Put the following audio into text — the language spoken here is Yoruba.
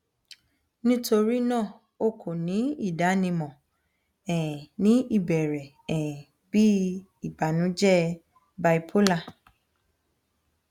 nitorina o ko ni idanimọ um ni ibẹrẹ um bi ibanujẹ bipolar